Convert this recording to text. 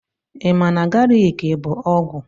Ị ma na galiki bụ ọgwụ?